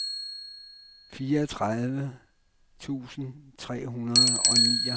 fireogtredive tusind tre hundrede og nioghalvtreds